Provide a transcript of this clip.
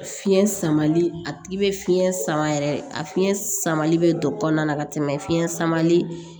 Fiɲɛ samali a tigi bɛ fiɲɛ sama yɛrɛ a fiɲɛ samali bɛ don kɔnɔna na ka tɛmɛ fiɲɛ samali